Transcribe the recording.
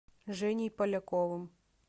женей поляковым